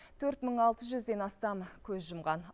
төрт мың алты жүзден астамы көз жұмған